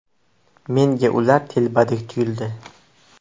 Menga ular telbadek tuyuldi.